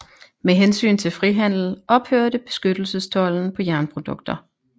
Med hensyn til frihandel ophørte beskyttelsestolden på jernprodukter